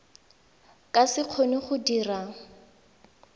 ka se kgone go dira